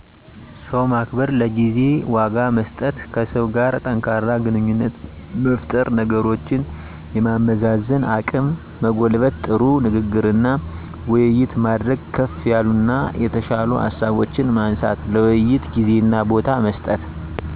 ሰው ማክበር፣ ለጊዜ ዋጋ መስጠት፣ ከሰው ጋር ጠንካራ ግንኙነት መፍጠር፣ ነገሮችን የማመዛዘን አቅም መጎልበት፣ ጥሩ ንግግርና ውይይት ማድረግ፣ ክፋ ያሉና የተሻሉ ሃሳቦችን ማንሳት፣ ለውይይት ጊዜና ቦታ መስጠት።